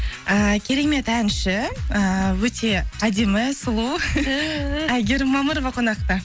ііі керемет әнші ііі өте әдемі сұлу ту әйгерім мамырова қонақта